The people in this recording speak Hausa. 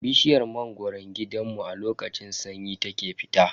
Bishiyar mangoron gidanmu a lokacin sanyi ta ke fita.